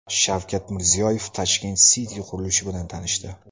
Shavkat Mirziyoyev Tashkent City qurilishi bilan tanishdi .